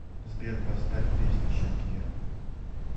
сбер поставь песня шакира